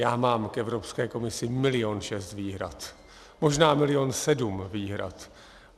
Já mám k Evropské komisi milion šest výhrad, možná milion sedm výhrad.